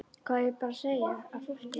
Hvað á ég bara að segja fólki?